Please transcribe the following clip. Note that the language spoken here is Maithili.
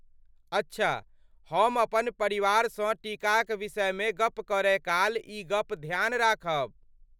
अच्छा, हम अपन परिवारसँ टीकाक विषयमे गप्प करय काल ई गप ध्यान राखब।